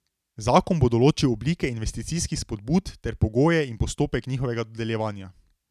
Zakon bo določil oblike investicijskih spodbud ter pogoje in postopek njihovega dodeljevanja.